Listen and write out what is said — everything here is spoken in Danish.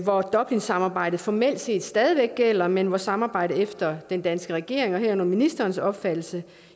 hvor dublinsamarbejdet formelt set stadig væk gælder men hvor samarbejdet efter den danske regerings og herunder ministerens opfattelse